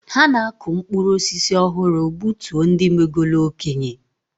Ha na-akụ mkpụrụ osisi ọhụrụ gbutuo ndị megolu okenye.